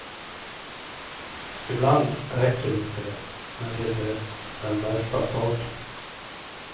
Ibland räcker inte det, men det är den bästa starten.